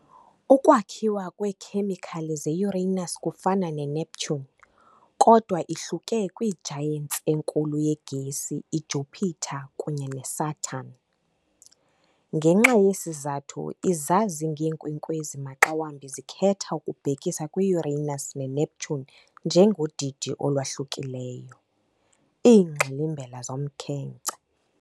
Ukwakhiwa kweekhemikhali ze-Uranus kufana neNeptune kodwa ihluke kwi- giants enkulu yegesi, iJupiter kunye neSaturn. Ngenxa yesi sizathu izazi ngeenkwenkwezi maxa wambi zikhetha ukubhekisa kwi-Uranus neNeptune njengodidi olwahlukileyo, " iingxilimbela zomkhenkce ".